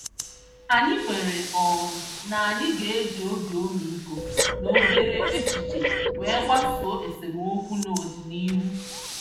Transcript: Anyị kwere um na anyị ga-eji obi ọmịiko na obere echiche wee gbasoo esemokwu n'ọdịnihu.